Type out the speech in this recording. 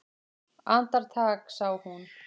Andartak sá hún